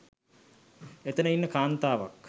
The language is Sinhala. එතන ඉන්න කාන්තාවක්